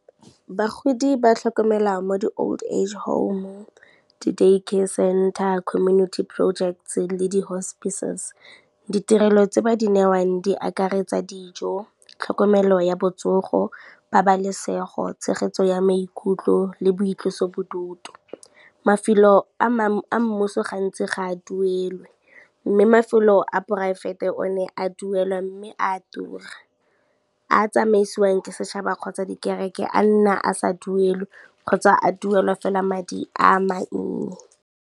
Bagodi ba tlhokomela mo di-old age home, di-daycare center, community projects le di-hospices. Ditirelo tse ba di newang di akaretsa dijo, tlhokomelo ya botsogo, pabalesego, tshegetso ya maikutlo le boitloso bodutu. Mafelo a mmuso gantsi ga a duelwe, mme mafelo a poraefete one a duelwa mme a tura, a tsamaisiwang ke setšhaba kgotsa dikereke a nna a sa duelwe kgotsa a duelwa fela madi a mannye.